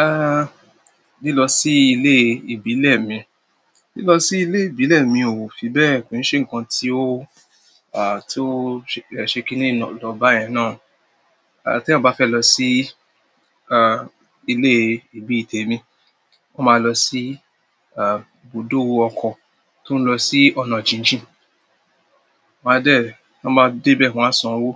Ah, lilọ sí ilé ìbílẹ̀ mi, lilọ sí ilé ìbílẹ̀ mi ò fi bẹ́ẹ̀ pín ṣe nǹkan, tí ó ṣe kí n lọ báyìí náà. Ti ẹyan bá fẹ́ lọ sí, ah, ilé ibi ìté mi, wọn máa lọ sí, ibùdó ọkọ̀ tó ń lọ sí ọ̀nà jíjìn. Wọ́n máa débẹ̀ wọ́n á san owó,